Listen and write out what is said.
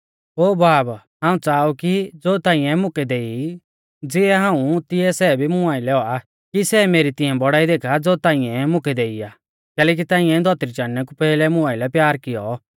ओ बाब हाऊं च़ाहा ऊ कि ज़ो ताइंऐ मुकै देई ज़िऐ हाऊं ऊ तिऐ सै भी मुं आइलै औआ कि सै मेरी तिऐं बौड़ाई देखा ज़ो ताइंऐ मुकै देई आ कैलैकि ताइंऐ धौतरी चाणनै कु पैहलै मुं आइलै प्यार कियौ